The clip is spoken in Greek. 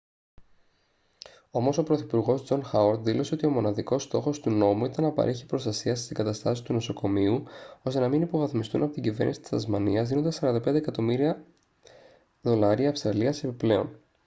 όμως ο πρωθυπουργός τζον χάουαρντ δήλωσε ότι μοναδικός στόχος του νόμου ήταν να παρέχει προστασία στις εγκαταστάσεις του νοσοκομείου ώστε να μην υποβαθμιστούν από την κυβέρνηση της τασμανίας δίνοντας 45 εκατομμύρια δολάρια αυστραλίας επιπλέον